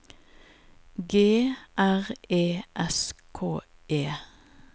G R E S K E